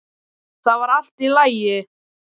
Þetta var allt í lagi